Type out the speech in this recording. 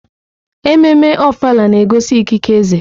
Ememme Ofala na-egosi ikike eze.